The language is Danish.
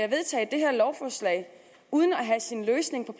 vedtage det her lovforslag uden at have en løsning